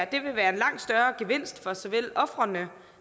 det ville være en langt større gevinst for såvel ofrene